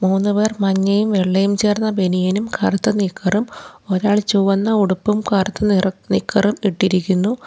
മൂന്നുപേർ മഞ്ഞയും വെള്ളയും ചേർന്ന ബനിയനും കറുത്ത നിക്കറും ഒരാൾ ചുവന്ന ഉടുപ്പും കറുത്ത നിറ നിക്കറും ഇട്ടിരിക്കുന്നു.